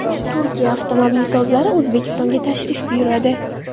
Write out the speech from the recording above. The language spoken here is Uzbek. Turkiya avtomobilsozlari O‘zbekistonga tashrif buyuradi.